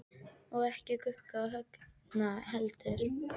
Og ekki Gugga og Högna heldur.